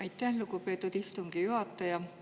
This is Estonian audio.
Aitäh, lugupeetud istungi juhataja!